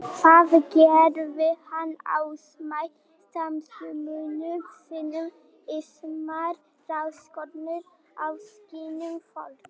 Þar gerði hann ásamt samstarfsmönnum sínum ýmsar rannsóknir á skynjun fólks.